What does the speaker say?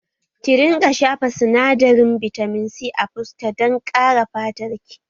Ki rinƙa shafa sinadarin bitamin C a fuska dan ƙare fatar ki